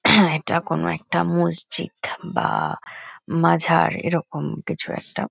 এটা কোনো একটা মসজিদ বা মাঝার এরকম কিছু একটা।